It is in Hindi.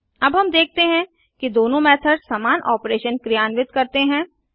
अब हम देखते हैं कि दोनों मेथड समान ऑपरेशन क्रियान्वित करते हैं